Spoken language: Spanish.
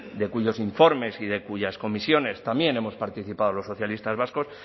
de cuyos informes y de cuyas comisiones también hemos participado en los socialistas vascos